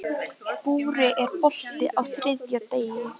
Búri, er bolti á þriðjudaginn?